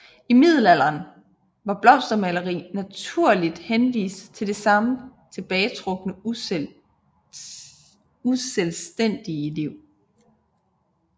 I Middelalderen var blomstermaleri naturligt henvist til det samme tilbagetrukne uselvstændige liv